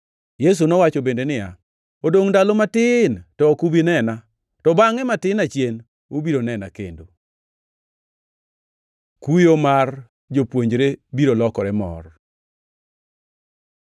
Yesu nowacho bende niya, “Odongʼ ndalo matin to ok ubi nena, to bangʼe matin achien ubiro nena kendo.” Kuyo mar jopuonjre biro lokore mor